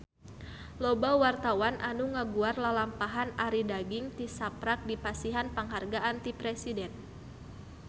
Loba wartawan anu ngaguar lalampahan Arie Daginks tisaprak dipasihan panghargaan ti Presiden